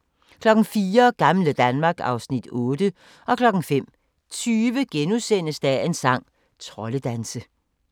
04:00: Gamle Danmark (Afs. 8) 05:20: Dagens sang: Troldedanse *